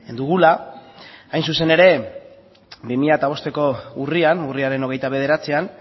dugula hain zuzen ere bi mila bosteko urrian urriaren hogeita bederatzian